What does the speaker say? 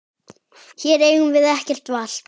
Hér eigum við ekkert val.